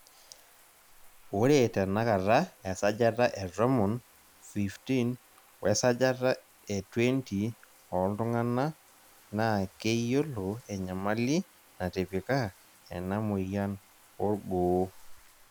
Ore tenakata esajata e tomon 15,wesajata e 20, ooltungana naa keyiolo enyamali natipika enamoyian orgooo.